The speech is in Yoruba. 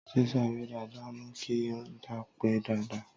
sísá eré dáadáa mú kí ń dápé dáadáa